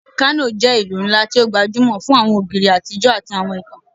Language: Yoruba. Kano jẹ́ ìlú ńlá tó gbajúmọ̀ fún àwọn ògiri àtijọ́ àti àwọn ìtàn